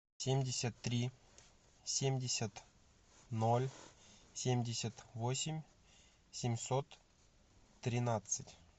семьдесят три семьдесят ноль семьдесят восемь семьсот тринадцать